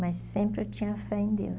Mas sempre eu tinha fé em Deus.